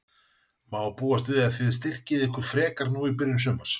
Má búast við að þið styrkið ykkur frekar nú í byrjun sumars?